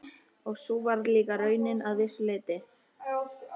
Og sú var líka raunin að vissu leyti.